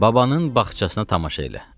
Babanın bağçasına tamaşa elə.